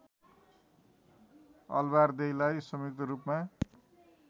अलबारदेईलाई संयुक्त रूपमा